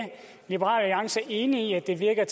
liberal alliance er enig i at det virker